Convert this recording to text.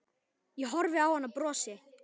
Ég horfi á hann og brosi.